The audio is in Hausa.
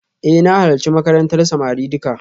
Eh na halarci makarantar samari duka